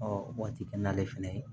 waati kɛ n'ale fɛnɛ ye